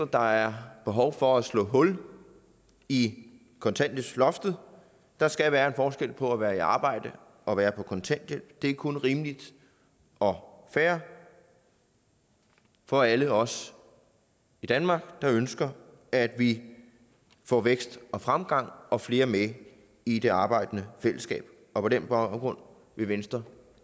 der er behov for at slå hul i kontanthjælpsloftet der skal være en forskel på at være i arbejde og være på kontanthjælp det er kun rimeligt og fair for alle os i danmark der ønsker at vi får vækst og fremgang og flere med i det arbejdende fællesskab på den baggrund vil venstre